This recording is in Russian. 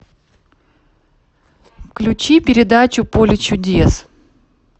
включи передачу поле чудес